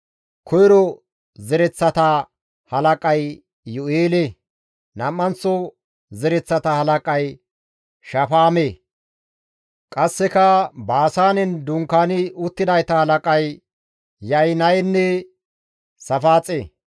Koyro zereththata halaqay Iyu7eele; nam7anththo zereththata halaqay Shafaame; qasseka Baasaanen dunkaani uttidayta halaqay Ya7inayenne Saafaaxe.